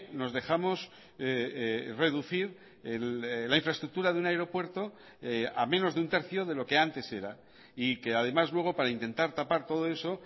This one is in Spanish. nos dejamos reducir la infraestructura de un aeropuerto a menos de un tercio de lo que antes era y que además luego para intentar tapar todo eso